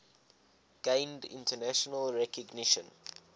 gained international recognition